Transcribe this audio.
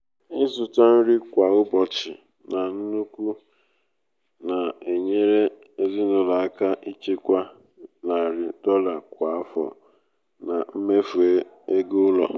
ịzụta nri kwa ụbọchị nri kwa ụbọchị na nnukwu na-enyere ezinụlọ aka ichekwa um narị um dolla kwa afọ na mmefu ego ụlọ.